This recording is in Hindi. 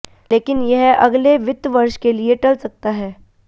लेकिन यह अगले वित्त वर्ष के लिए टल सकता है